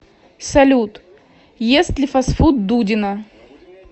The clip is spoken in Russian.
салют ест ли фастфуд дудина